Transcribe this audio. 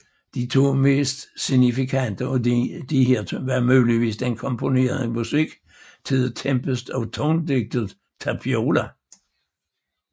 De to mest signifikante af disse var muligvis den komponerede musik til The Tempest og tonedigtet Tapiola